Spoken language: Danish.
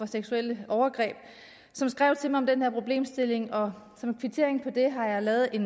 seksuelle overgreb som skrev til mig om den her problemstilling og som kvittering for det har jeg lavet et